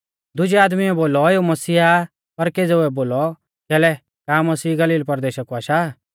दुजै आदमीऐ बोलौ एऊ मसीह आ पर केज़ेउऐ बोलौ कैलै का मसीह गलील परदेशा कु आशा आ